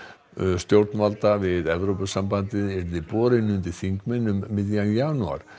stjórnvalda við Evrópusambandið yrði borinn undir þingmenn um miðjan janúar